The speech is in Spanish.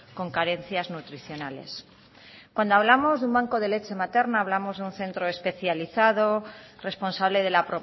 con carencias nutricionales cuando hablamos de un banco de leche materna hablamos de un centro especializado responsable de la